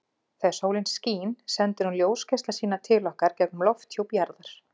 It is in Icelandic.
Þegar sólin skín sendir hún ljósgeisla sína til okkar gegnum lofthjúp jarðar.